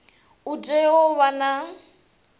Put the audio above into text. u tea u vha na